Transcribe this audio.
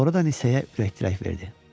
Sonradan Nisəyə ürək dirək verdi.